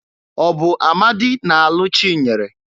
Ọ bụ Amadị na-alụ Chinyere?